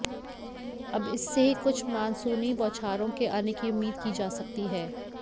अब इससे ही कुछ मानसूनी बौछारों के आने की उम्मीद की जा सकती है